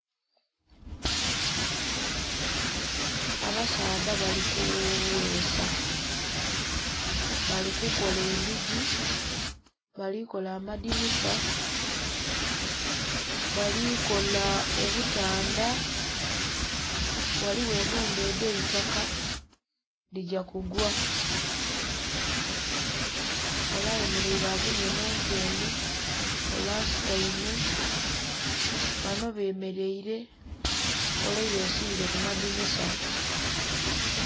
Abasaadha bali kugheesa. Bali kukola endhigi, bali kola amadhinisa, bali kola obutandha. Ghaligho ennhumba edh'eitaka dhigya kugwa. Ole ayemeleile agemye mu nkendhe, ole asutaime, banho bemeleile, ole yesiile ku madhinisa.